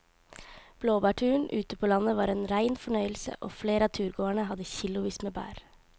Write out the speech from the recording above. Blåbærturen ute på landet var en rein fornøyelse og flere av turgåerene hadde kilosvis med bær.